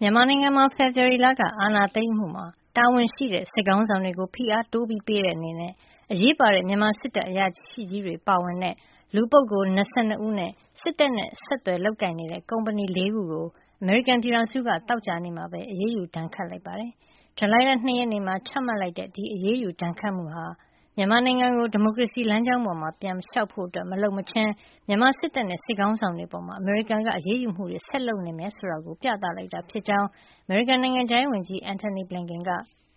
မြန်မာနိုင်ငံမှာ ဖေဖေါ်ဝါရီလက အာဏာသိမ်းမှုမှာ တာဝန်ရှိတဲ့ စစ်ခေါင်းဆောင်တွေကို ဖိအားတိုးပေးတဲ့ အနေနဲ့ အရေးပါတဲ့ မြန်မာစစ်အရာရှိကြီးတွေပါဝင်တဲ့ လူပုဂ္ဂိုလ် ၂၂ ဦး နဲ့ စစ်တပ်နဲ့ဆက်သွယ်လုပ်ကိုင်နေတဲ့ ကုမ္ပဏီ ၄ ခုကို အမေရိကန်ပြည်ထောင်စုက သောကြာနေ့မှာ အရေးယူဒဏ်ခတ်မှု လိုက်ပါတယ်။ ဇူလိုင်လ ၂ ရက်နေ့မှာ ချမှတ်လိုက်တဲ့ အရေးယူဒဏ်ခတ်မှုဟာ မြန်မာနိုင်ငံကို ဒီမိုကရေစီလမ်းကြောင်းပေါ် ပြန်လျှောက်ဖို့ မလုပ်မချင်း မြန်မာစစ်တပ်နဲ့ စစ်ခေါင်းဆောင်တွေ အပေါ် အမေရိကန်က အရေးယူမှုတွေ ဆက်လုပ်နေမယ်ဆိုတာကို ပြသလိုက်တာ ဖြစ်ကြောင်း အမေရိကန်နိုင်ငံခြားရေးဝန်ကြီး Antony Blinken က